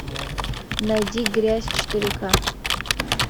найди грязь четыре ка